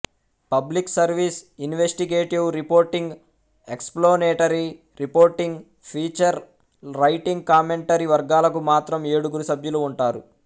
public service investigative reporting explanatory reporting feature writing commentary వర్గాలకు మాత్రం ఏడుగురు సభ్యులు ఉంటారు